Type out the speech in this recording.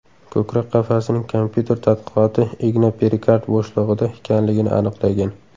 Ko‘krak qafasining kompyuter tadqiqoti igna perikard bo‘shlig‘ida ekanligini aniqlagan.